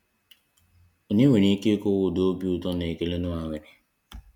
Onye nwere ike ịkọwa ụdị obi ụtọ na ekele Nọah nwere!